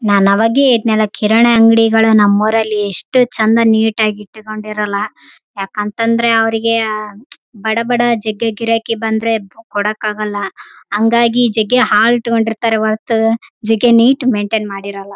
ನನವಾಗೆ ಹೇಳ್ದ್‌ನಲಾ ಕಿರಾಣಿ ಅಂಗಡಿಗಳು ನಮ್ಮೂರಲ್ಲಿ ಇಷ್ಟು ಚಂದ ನೀಟಾಗಿ ಇಟ್ಟುಕೊಂಡಿರಲ್ಲ ಯಾಕಂತಂದ್ರೆ ಅವ್ರಿಗೆ ಬಡಬಡ ಜಗ್ಗೆ ಗಿರಾಕಿ ಬಂದ್ರೆ ಕೊಡಕ್ಕಾಗಲ್ಲ ಅಂಗಾಗಿ ಜಗ್ಗೆ ಹಾಳ್ ಇಟ್ಕೊಂಡಿರ್ತಾರೆ ಹೊರ್ತು ಜಗ್ಗೆ ನೀಟ್‌ ಮೈಂಟೇನ್‌ ಮಾಡಿರಲ್ಲ.